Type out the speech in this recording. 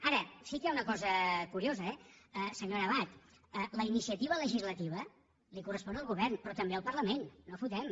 ara sí que hi ha una cosa curiosa eh senyora abad la iniciativa legislativa li correspon al govern però també al parlament no fotem